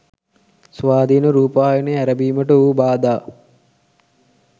ස්වාධීන රූපවාහිය ඇරඹීමට වූ බාධා